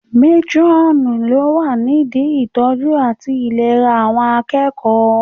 Métúrọ̀nù ni ó wà nídi ìtọ́jú àti ìlera àwọn akẹ́kọ̀ọ́